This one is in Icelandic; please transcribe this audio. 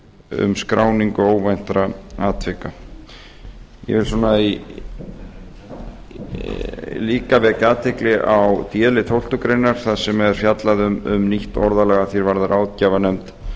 um skráningu óvæntra atvika ég vil líka vekja athygli á d lið tólftu greinar þar sem er fjallað um nýtt orðalag að því er varðar ráðgjafarnefnd